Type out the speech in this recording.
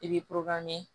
I bi